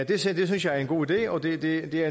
det synes jeg er en god idé og det det er